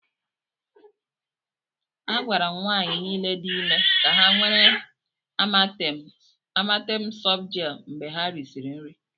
A gwara nwanyị niile dị ime ka ha were Amatem softgel mgbe ha risịrị nri.